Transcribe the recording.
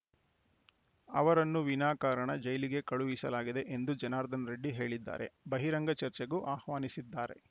ಅವರನ್ನು ವಿನಾ ಕಾರಣ ಜೈಲಿಗೆ ಕಳುಹಿಸಲಾಗಿದೆ ಎಂದು ಜನಾರ್ದನ ರೆಡ್ಡಿ ಹೇಳಿದ್ದಾರೆ ಬಹಿರಂಗ ಚರ್ಚೆಗೂ ಆಹ್ವಾನಿಸಿದ್ದಾರೆ